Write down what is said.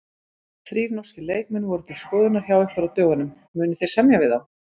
Þrír norskir leikmenn voru til skoðunar hjá ykkur á dögunum, munið þið semja við þá?